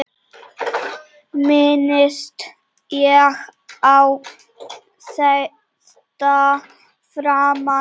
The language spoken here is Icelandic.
Minnist ekki á þetta framar.